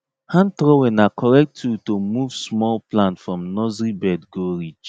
hand trowel na correct tool to move small plant from nursery bed go ridge